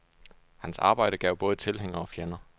Hans arbejde gav både tilhængere og fjender.